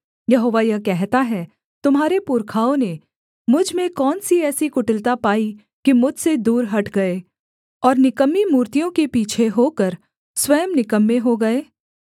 यहोवा यह कहता है तुम्हारे पुरखाओं ने मुझ में कौन सी ऐसी कुटिलता पाई कि मुझसे दूर हट गए और निकम्मी मूर्तियों के पीछे होकर स्वयं निकम्मे हो गए